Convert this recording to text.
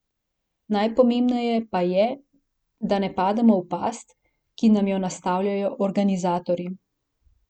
Najpomembneje pa je, da ne pademo v past, ki nam jo nastavljajo organizatorji.